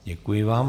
Děkuji vám.